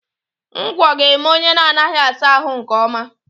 Ngwọ ga-eme onye na-anaghị asa ahụ nke ọma